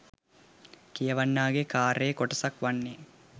කියවන්නාගේ කාර්යයේ කොටසක් වන්නේ